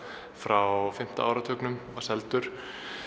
frá fimmta áratugnum var seldur